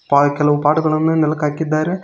ಪಾ ಕೆಲವು ಪಾಟ್ ಗಳನ್ನು ನೆಲಕ್ ಹಾಕಿದ್ದಾರೆ.